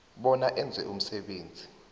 bona enze umsebenzi